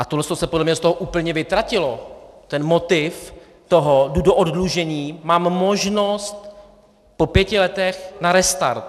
A tohle se podle mě z toho úplně vytratilo, ten motiv toho: jdu do oddlužení, mám možnost po pěti letech na restart.